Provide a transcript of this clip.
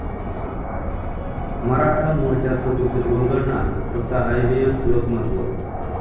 मराठा मोर्चाचं गुपित उलगडणार फक्त आयबीएन लोकमतवर